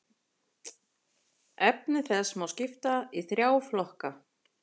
Efni þess má skipta í þrjá flokka.